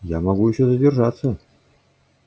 я могу ещё задержаться